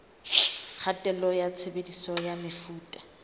kgatello ya tshebediso ya mefuta